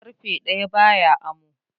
ƙarfe ɗaya baya amo